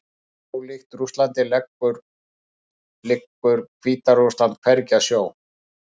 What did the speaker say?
Ólíkt Rússlandi liggur Hvíta-Rússland hvergi að sjó.